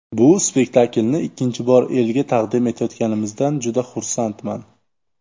Bu spektaklni ikkinchi bor elga taqdim etayotganimizdan juda xursandman.